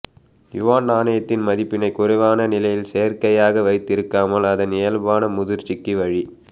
Yuan நாணயத்தின் மதிப்பினை குறைவான நிலையில் செயற்கையாக வைத்திருக்காமல் அதன் இயல்பான முதிர்ச்சிக்கு வழி